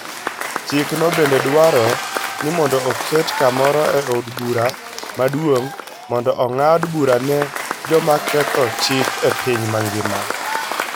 Chikno bende dwaro ni mondo oket kamoro e Od Bura Maduong ' mondo ong'ad bura ne joma ketho chik e piny mangima.